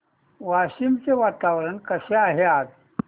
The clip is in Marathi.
वाशिम चे वातावरण कसे आहे आज